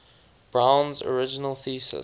brown's original thesis